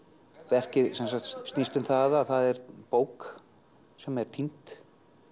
verkið snýst um það að það er bók sem er týnd